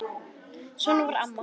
Svona var mamma.